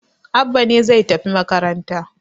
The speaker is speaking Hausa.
Abba ne zai tafi makaranta